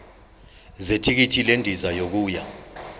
zethikithi lendiza yokuya